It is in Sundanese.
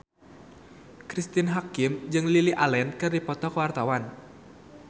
Cristine Hakim jeung Lily Allen keur dipoto ku wartawan